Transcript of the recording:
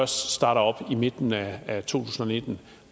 starter op i midten af tusind og nitten